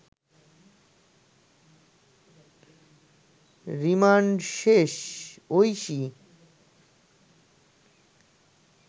remand শেষ ঐশী